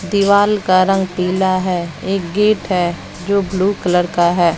दीवाल का रंग पीला है एक गेट है जो ब्लू कलर का है।